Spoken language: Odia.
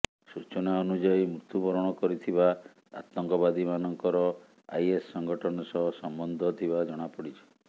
ସୁଚନା ଅନୁଯାୟୀ ମୃତ୍ୟୁବରଣ କରିଥିବା ଆତଙ୍କବାଦୀମାନଙ୍କର ଆଇଏସ୍ ସଙ୍ଗଠନ ସହ ସମ୍ବନ୍ଧ ଥିବା ଜଣାପଡ଼ିଛି